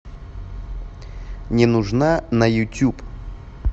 не нужна на ютуб